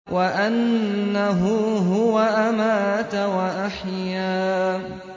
وَأَنَّهُ هُوَ أَمَاتَ وَأَحْيَا